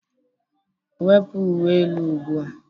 Wepu uwe elu ugbu a.